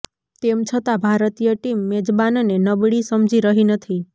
તેમ છતા ભારતીય ટીમ મેજબાનને નબળી સમજી રહી નથી